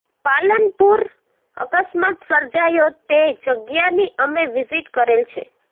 પાલનપુરઃ અકસ્માત સર્જાયો તે જગ્યાની અમે વિઝીટ કરેલ છે